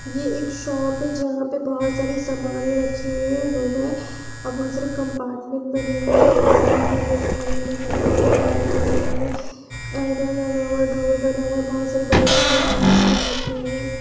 ये एक शॉप है जहाँ पे बहुत सारी सामाने रखी हुई है रूम है और बहुत सारे कंपार्टमेंट बने हुए हैं मशीन है इलेक्ट्रॉनिक मशीन से है लाइटें लगी हुई है और डोर बना हुआ है बहुत सारे बड़े बड़े मशीनस हैं रखी हुई है।